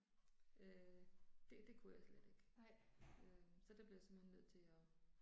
Øh det det kunne jeg slet ikke. Øh så der blev jeg simpelthen nødt til og